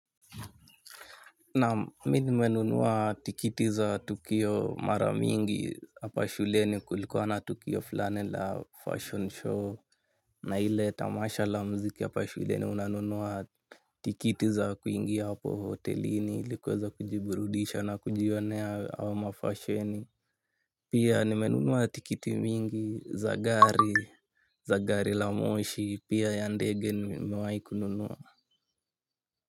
Naam mimi nmenunuwa tikiti za tukio maramingi hapa shuleni kulikuwa na tukio flani la fashion show. Na hile tamasha la mziki hapa shuleni unanunuwa tikiti za kuingi hapo hotelini likweza kujiburudisha na kujionea hawa mafasheni. Pia nimenunuwa tikiti mingi za gari, za gari la moshi, pia ya ndege ni mewaiku nunua.